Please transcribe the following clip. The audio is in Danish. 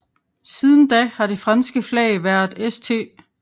Siden da har det franske flag været St